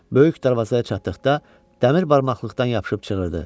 Böyük darvazaya çatdıqda dəmir barmaqlıqdan yapışıb çığırdı.